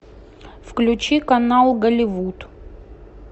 включи канал голливуд